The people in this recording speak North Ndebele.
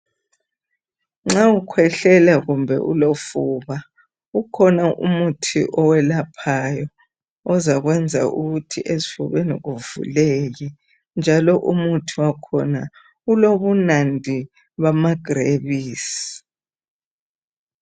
Nxa ukhwehlela kumbe ulofuba ukhona umuthi owelaphayo ozakwenza ukuthi esifubeni kuvuleke njalo umuthi wakhona ulobunandi bamagrebisi.